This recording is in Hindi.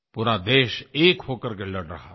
पूरा देश एक होकर के लड़ रहा था